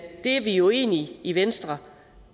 det er vi jo egentlig i venstre